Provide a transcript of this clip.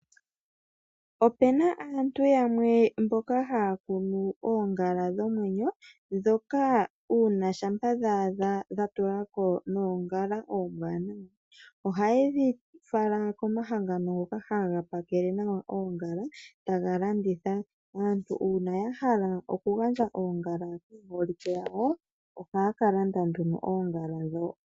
Opena aantu yamwe mboka haakunu oongala dhomwenyo ndhoka uuna shampa dhaadha dhatulako noongala oombwanawa ohaye dhi fala komahangano ngoka haga pakele nawa oongala etaga landitha. Aantu uuna yahala okugandja oongala kaaholike yawo ohaakalanda oongala ndho.